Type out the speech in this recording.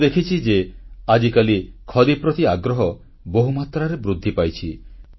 ମୁଁ ଦେଖିଛି ଯେ ଆଜିକାଲି ଖଦୀ ପ୍ରତି ଆଗ୍ରହ ବହୁମାତ୍ରାରେ ବୃଦ୍ଧି ପାଇଛି